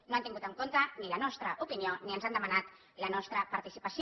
no han tingut en compte ni la nostra opinió ni ens han demanat la nostra participació